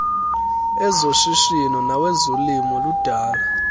ezoshishino nawezolimo ludala